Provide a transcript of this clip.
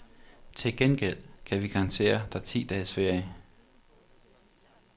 Til gengæld kan vi garantere dig ti dages ferie.